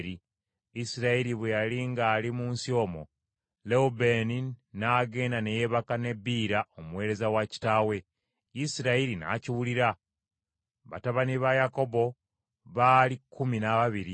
Isirayiri bwe yali ng’ali mu nsi omwo Lewubeeni n’agenda ne yeebaka ne Biira omuweereza wa kitaawe, Isirayiri n’akiwulira. Batabani ba Yakobo baali kkumi n’ababiri.